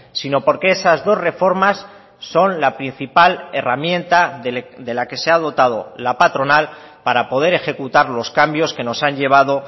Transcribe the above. sino porque esas dos reformas son la principal herramienta de la que se ha dotado la patronal para poder ejecutar los cambios que nos han llevado